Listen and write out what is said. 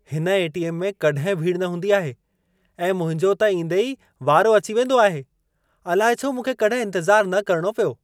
हिन एटीएम में कॾहिं भीड़ न हूंदी आहे ऐं मुंहिंजो त ईंदे ई वारो अची वेंदो आहे। अलाइ छो मूंखे कॾहिं इंतज़ारु न करणो पियो।